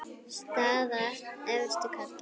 Staða efstu karla